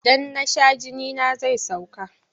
Idan na sha jinina zai sauka.